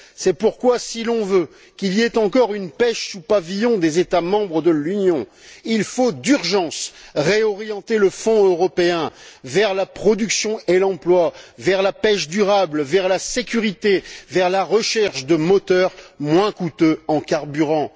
C'est pourquoi, si l'on veut qu'il y ait encore une pêche sous pavillon des États membres de l'Union, il faut d'urgence réorienter le Fonds européen vers la production et l'emploi, vers la pêche durable, vers la sécurité, vers la recherche de moteurs moins coûteux en carburant.